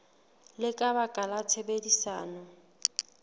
le ka baka la tshebedisano